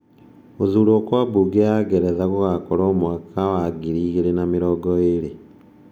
Gũthurwo gwa Bunge ya Ngeretha gũgakorwo mwaka wa 2020.